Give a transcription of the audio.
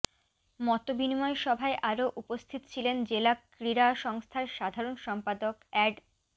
মতবিনিময় সভায় আরো উপস্থিত ছিলেন জেলা ক্রীড়া সংস্থার সাধারন সম্পাদক এ্যাড